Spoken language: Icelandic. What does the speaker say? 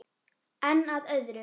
En að öðru.